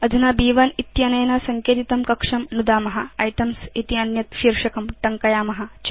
अधुना ब्1 इत्यनेन सङ्केतितं कक्षं नुदाम आइटेम्स् इति अन्यत् शीर्षकं टङ्कयाम च